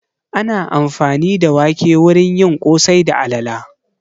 Ana amfani da wake wurin yin ƙosai da alala